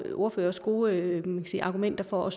ordføreres gode argumenter for